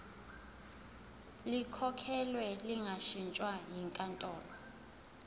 likhokhelwe lingashintshwa yinkantolo